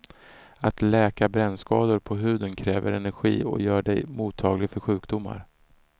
Att läka brännskador på huden kräver energi och gör dig mottaglig för sjukdomar.